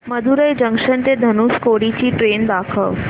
Madurai junction ते धनुषकोडी ची train दाखव